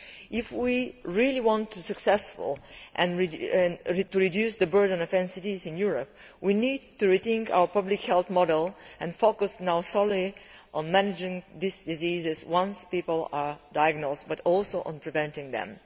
If we really want to be successful in reducing the burden of NCDs in Europe, we need to rethink our public health model and focus not only on managing these diseases once people are diagnosed, but also on preventing them.